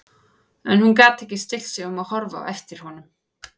En hún gat ekki stillt sig um að horfa á eftir honum.